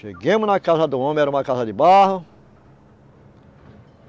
Chegamos na casa do homem, era uma casa de barro.